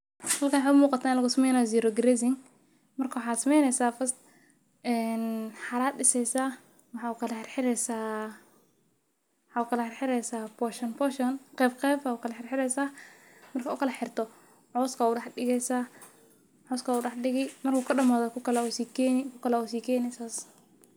Halkan waxaay u muqatah in lagusameynayo zero grazing, marka waxaa sameyneysaah first xara aa diseysaah maxaa u kala xirxireysaah portion portion qeb qeb aa ukala xirxireysaah, marka ukalaxirxirto cowska a udax digeysaah , marku kadamadho . kukale aa usikeni kukale aa usikene sas.